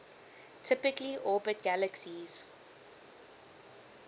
typically orbit galaxies